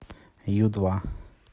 ю два